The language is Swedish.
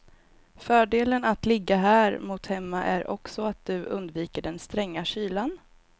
Fördelen att ligga här mot hemma är också att du undviker den stränga kylan.